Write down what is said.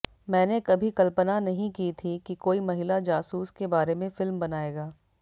मैंने कभी कल्पना नहीं की थी कि कोई महिला जासूस के बारे में फिल्म बनाएगा